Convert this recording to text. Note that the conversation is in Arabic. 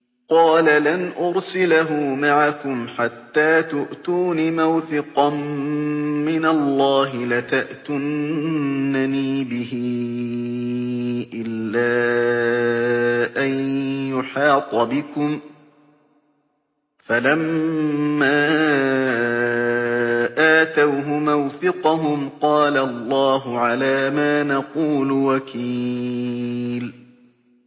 قَالَ لَنْ أُرْسِلَهُ مَعَكُمْ حَتَّىٰ تُؤْتُونِ مَوْثِقًا مِّنَ اللَّهِ لَتَأْتُنَّنِي بِهِ إِلَّا أَن يُحَاطَ بِكُمْ ۖ فَلَمَّا آتَوْهُ مَوْثِقَهُمْ قَالَ اللَّهُ عَلَىٰ مَا نَقُولُ وَكِيلٌ